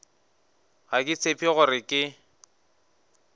ga ke tshepe gore ke